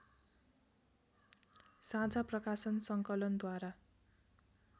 साझा प्रकाशन सङ्कलनद्वारा